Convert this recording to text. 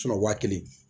wa kelen